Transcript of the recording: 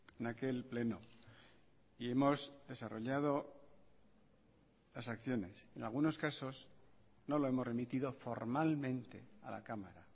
en aquel pleno y hemos desarrollado las acciones en algunos casos no lo hemos remitido formalmente a la cámara